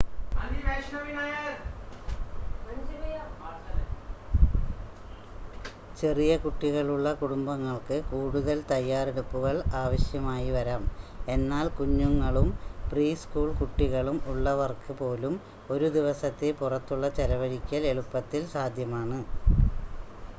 ചെറിയ കുട്ടികളുള്ള കുടുംബങ്ങൾക്ക് കൂടുതൽ തയ്യാറെടുപ്പുകൾ ആവശ്യമായിവരാം എന്നാൽ കുഞ്ഞുങ്ങളും പ്രീ-സ്കൂൾ കുട്ടികളും ഉള്ളവർക്ക് പോലും ഒരു ദിവസത്തെ പുറത്തുള്ള ചെലവഴിക്കൽ എളുപ്പത്തിൽ സാധ്യമാണ്